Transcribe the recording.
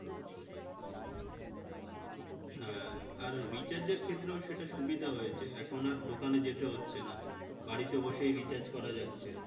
হ্যাঁ আর recharge এর ক্ষেত্রেও সেটা সুবিধা হয়েছে এখন আর দোকানে যেতে হচ্ছে না বাড়িতে বসেই recharge করা যাচ্ছে